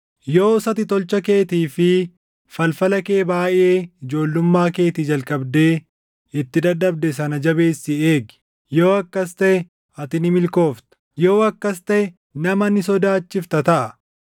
“Yoos ati tolcha keetii fi falfala kee baayʼee ijoollummaa keetii jalqabdee itti dadhabde sana jabeessii eegi. Yoo akkas taʼe ati ni milkoofta; yoo akkas taʼe nama ni sodaachifta taʼa.